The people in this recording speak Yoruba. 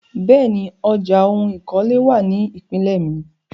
Bẹ́ẹ̀ni, ọjà oun ìkọ́lé wà ní ìpínlè mi.